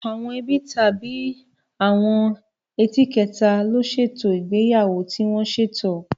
Àwọn ẹbí tàbí àwọn ẹ́ti kẹta ló ṣètò ìgbéyàwó tí wọ́n ṣètò.